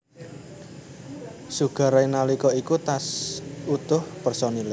Sugar Ray nalika iku tash utuh personile